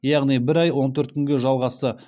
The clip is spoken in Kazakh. яғни бір ай он төрт күнге жалғасты